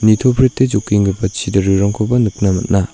nitoprete jokenggipa chidarerangkoba nikna man·a.